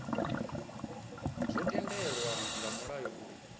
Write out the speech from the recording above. zwo tendelwa nga mulayo uri